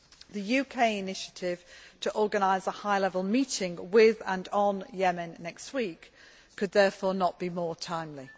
The UK initiative to organise a high level meeting with and on Yemen next week could, therefore, not be more timely.